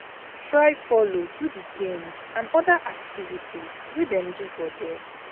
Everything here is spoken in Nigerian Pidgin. Try follow do di games and other activities wey dem do for there